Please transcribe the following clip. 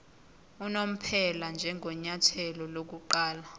unomphela njengenyathelo lokuqala